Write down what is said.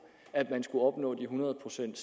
at man skulle opnå hundrede procent